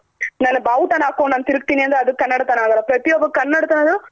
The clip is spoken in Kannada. ನಾನು ನಾನು ಬಾವುಟ ನ ಹಾಕ್ಕೊಂಡು ನಾನ್ ತಿರ್ಗಿತಿನಿ ಅಂದ್ರೆ ಅವಾಗ ಕನ್ನಡ ತನ ಆಗಲ್ಲ ಪ್ರತಿಯೊಬ್ಬ ಕನ್ನಡದನು